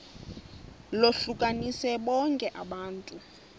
lohlukanise bonke abantu